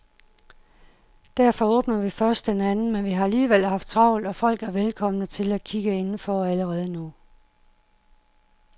Derfor åbner vi først den anden, men vi har alligevel haft travlt og folk er velkomne til at kigge inden for allerede nu.